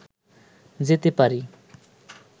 যেতে পারি